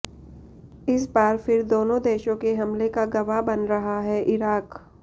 इस बार फिर दोनों देशों के हमले का गवाह बन रहा है इराक